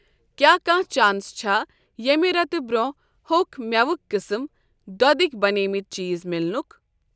کیٛاہ کانٛہہ چانس چھےٚ ییٚمہ رٮ۪تہٕ برٛونٛہہ ہوٚکھ مٮ۪وٕکؠ قٕسٕم، دۄدٕکؠ بنیمٕتۍ چیٖز میلنک؟